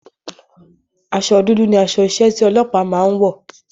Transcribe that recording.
Asọ dúdú ni aṣọ iṣẹ́ tí ọlọ́pàá náà ń wọ̀.